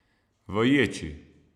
V ječi.